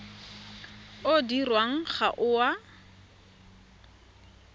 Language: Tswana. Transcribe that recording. o dirwang ga o a